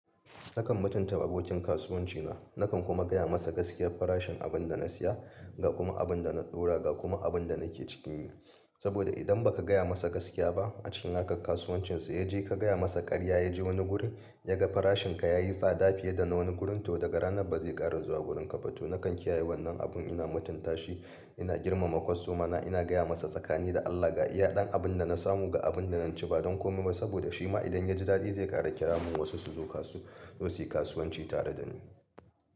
Nakan mutunta abokin kasuwanci na. Nakan kuma gaya masa gaskiyar farashin abin da na siya, ga kuma abin da na ɗora ga kuma abin da na ke cikin yi. Saboda idan ba ka gaya masa gaskiya ba acikin harkan kasuwancin ya je ka gaya masa karya ya je wani guri ya ga farashin ka yayi sa da fiye da na wani gurin to daga ranan ba zai ƙara zuwa wurin ka ba. To nakan kiyaye wannan abun ina mutunta shi, ina girmama kwastomana ina gaya masa tsakani da Allah ga iya ɗan abin da na samu ga abin da na ci ba don komai ba saboda shi ma idan ya ji daɗi zai ƙara ƙira mun wasu su zo kasu su yi kasuwanci tare da ni.